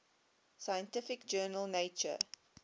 scientific journal nature